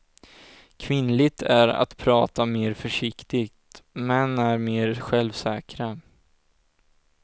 Kvinnligt är att prata mer försiktigt, män är mer självsäkra.